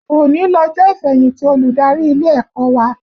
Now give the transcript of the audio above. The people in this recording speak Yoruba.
Òní lọjọ́ ìfẹ̀yìntì olùdarí ilé ẹ̀kọ́ wa